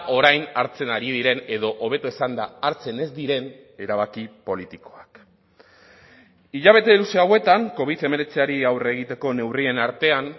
orain hartzen ari diren edo hobeto esanda hartzen ez diren erabaki politikoak hilabete luze hauetan covid hemeretziari aurre egiteko neurrien artean